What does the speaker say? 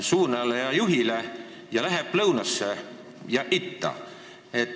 Küsimus on suunatud lõunasse ja itta.